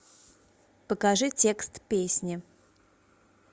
покажи текст песни